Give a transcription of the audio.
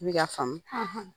I bi k'a faamu,